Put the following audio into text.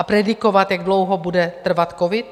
A predikovat, jak dlouho bude trvat covid?